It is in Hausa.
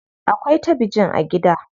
Akwai tabijin a gida.